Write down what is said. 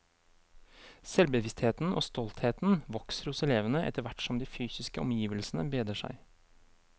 Selvbevisstheten og stoltheten vokser hos elevene etter hvert som de fysiske omgivelsene bedrer seg.